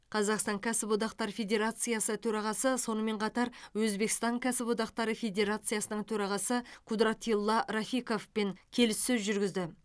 қазақстан кәсіподақтар федерациясы төрағасы сонымен қатар өзбекстан кәсіподақтары федерациясының төрағасы кудратилла рафиковпен келіссөз жүргізді